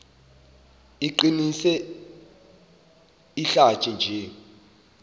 iqinise izihlathi nje